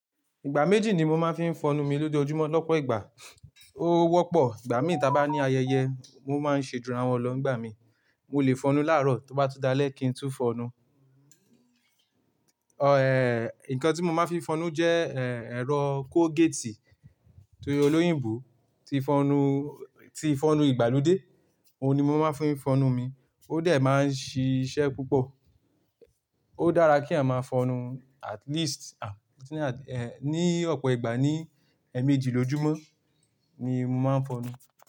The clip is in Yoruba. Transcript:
Ìgbà méjì ni mo máa ń fi ń fọnu mi lójoojúmọ́, lọ́pọ̀ ìgbà, ó wọ́pọ̀, ìgbà mìíràn tí a bá ní ayẹyẹ mo máa ń ṣẹ̀júrà wọn lọ́ n ìgbà mi. Mo lè fọnu láàárọ̀ tó bá tú dalẹ́ kí n tú fọnu. Ọ èéh, nǹkan tí mo máa ń fi ń fọnu jẹ́, ẹéh, ẹ̀rọ Colgate tí olóyìnbo ti fọnu, tí ń fọnu ìgbàlódé, òun ni mo máa ń fi ń fọnu mi. Ó dẹ̀ máa ń ṣiṣẹ́ púpọ̀. Ó dára kí a máa fọnu at least, àn, ní ọ̀pọ̀ ìgbà ní ẹ̀ẹ̀mejì lójúmọ́ ni mo máa ń fọnu.